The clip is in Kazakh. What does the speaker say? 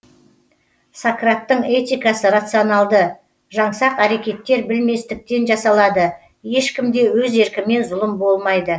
сократтың этикасы рационалды жаңсақ әрекеттер білместіктен жасалады ешкімде өз еркімен зұлым болмайды